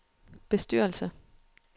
bestyrelse